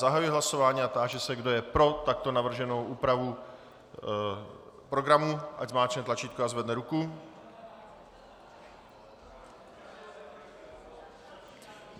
Zahajuji hlasování a táži se, kdo je pro takto navrženou úpravu programu, ať zmáčkne tlačítko a zvedne ruku.